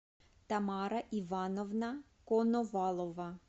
тамара ивановна коновалова